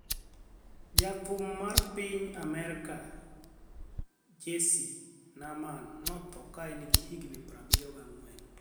Ja thum mar piny Amerka Jessye Norman nothoo kane en gi higni 74